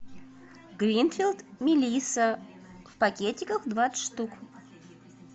гринфилд мелисса в пакетиках двадцать штук